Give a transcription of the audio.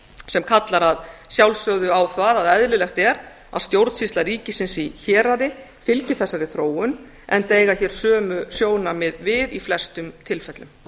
sem kallar að sjálfsögðu á það að eðlilegt er að stjórnsýsla ríkisins í héraði fylgi þessari þróun enda eiga hér sömu sjónarmið við í flestum tilfellum